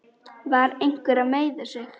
Var einhver að meiða sig?